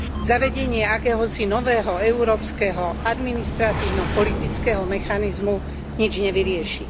Zavedenie akéhosi nového európskeho administratívno politického mechanizmu nič nevyrieši.